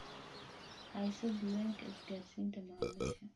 Hayso diiwaanka isgaarsiinta macaamiisha.